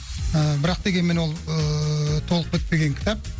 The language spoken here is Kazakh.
ыыы бірақ дегенмен ол ыыы толық бітпеген кітап